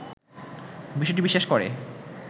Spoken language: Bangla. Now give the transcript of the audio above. বিষয়টি বিশ্বাস করে